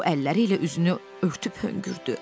O əlləri ilə üzünü örtüb hönkürdü.